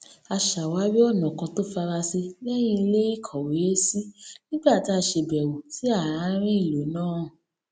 a ṣàwárí ònà kan tó farasin léyìn iléìkówèésí nígbà tá a ṣèbèwò sí àárín ìlú náà